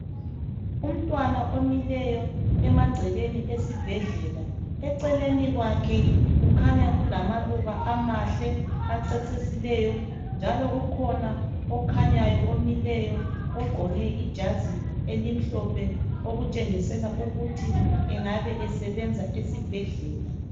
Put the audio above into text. Umntwana omileyo emagcekeni esibhedlela eceleni kwakhe kukhanya kulamaluba amahle acecisileyo njalo kukhona okhanyayo omileyo ogqoke ijazi elimhlophe okutshengisela ukuthi engabe esebenza esibhedlela.